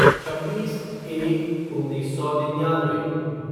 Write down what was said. छब्बीस एक उन्नीस सौ निन्यानवे